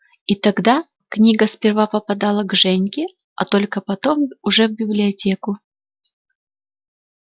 и тогда книга сперва попадала к женьке а только потом уже в библиотеку